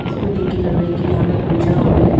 इसको देख के लग रहा है कि यहां में पूजा हो रहा है।